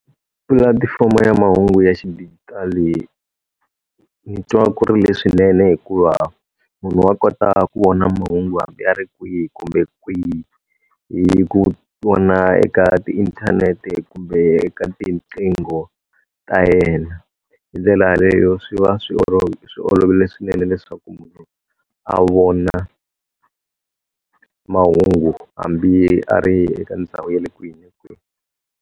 Pulatifomo ya mahungu ya xidijitali, ndzi twa ku ri leswinene hikuva munhu wa kota ku vona mahungu hambi va ri kwihi kumbe kwihi hi ku vona eka tiinthanete kumbe eka tinqingho ta yena. Hi ndlela yaleyo swi va swi swi olovile swinene leswaku a vona mahungu hambi a ri eka ndhawu ya le kwini ni kwini.